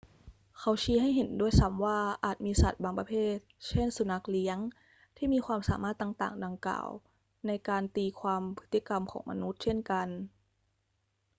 เขาชี้ให้เห็นด้วยซ้ำว่าอาจมีสัตว์บางประเภท เช่น สุนัขเลี้ยง ที่มีความสามารถต่าง ๆ ดังกล่าวในการตีความพฤติกรรมของมนุษย์เช่นกัน